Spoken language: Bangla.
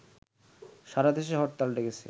সারাদেশে হরতাল ডেকেছে